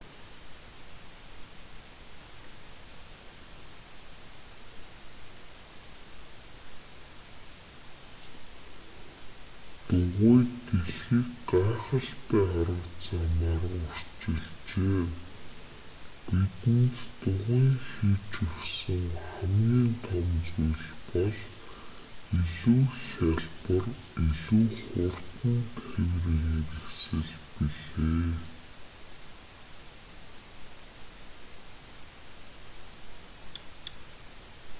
дугуй дэлхийг гайхалтай арга замаар өөрчилжээ бидэнд дугуйн хийж өгсөн хамгийн том зүйл бол илүү хялбар илүү хурдан тээврийн хэрэгсэл билээ